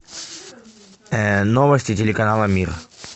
новости телеканала мир